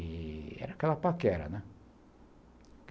E era aquela paquera, né?